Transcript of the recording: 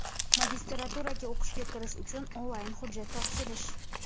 Magistraturaga o‘qishga kirish uchun onlayn hujjat topshirish .